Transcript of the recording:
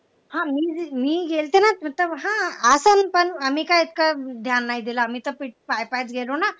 हा मी गेलते ना तिथं पण हा असं पण आम्ही काय काय नाय दिलं आम्ही तर पाय पाय गेलं ना